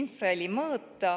infraheli mõõta.